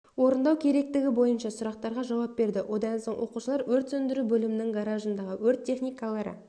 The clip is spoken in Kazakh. орындау керектігі бойынша сұрақтарға жауап берді одан соң оқушылар өрт сөндіру бөлімінің гаражындағы өрт техникалары